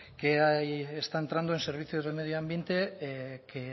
que ahí está entrando en servicios de medio ambiente que